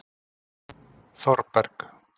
Þorberg